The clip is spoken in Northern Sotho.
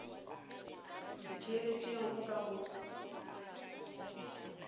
se theeletše go ka go